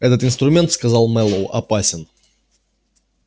этот инструмент сказал мэллоу опасен